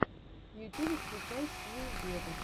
в ютубе включай сию вево